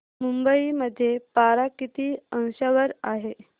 मुंबई मध्ये पारा किती अंशावर आहे